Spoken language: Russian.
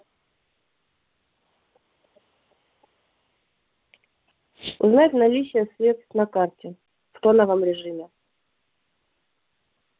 узнать наличие средств на карте в тоновом режиме